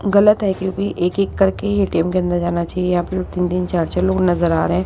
गलत है क्योंकि एक-एक करके हि ए_टी_एम के अंदर जाना चाहिए। यहां पर तीन-तीन चार-चार लोग नजर आ रहे हैं।